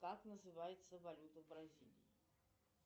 как называется валюта бразилии